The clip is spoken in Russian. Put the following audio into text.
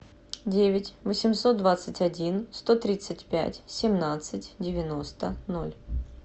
девять восемьсот двадцать один сто тридцать пять семнадцать девяносто ноль